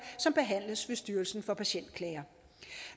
som behandles ved styrelsen for patientklager